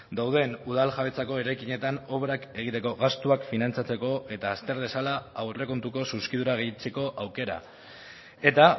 dauden udal jabetzako eraikinetan obrak egiteko gastuak finantzatzeko eta azter dezala aurrekontuko zuzkidura gehitzeko aukera eta